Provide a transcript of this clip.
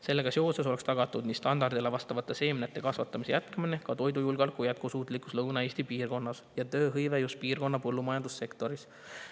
Sellega seoses oleks tagatud nii standardile vastavate seemnete kasvatamise jätkamine, ka toidujulgeoleku jätkusuutlikus Lõuna-Eesti piirkonnas ja tööhõive just piirkonna põllumajandussektoris.